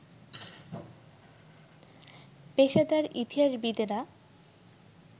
পেশাদার ইতিহাসবিদেরা